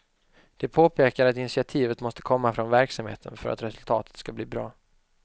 De påpekar att initiativet måste komma från verksamheten för att resultatet skall bli bra.